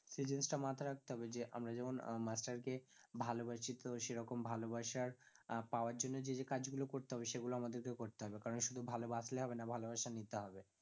সেই জিনিসটা মাথায় রাখতে হবে যে আমরা যেমন আহ master কে ভালোবাসি তো সেরকম ভালোবাসা আহ পাওয়ার জন্য যে যে কাজ গুলো করতে হবে সেগুলো আমাদের কেও করতে হবে, কারণ শুধু ভালোবাসলে হবে না ভালোবাসা নিতে হবে